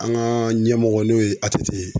An ka ɲɛmɔgɔ n'o ye ATT ye.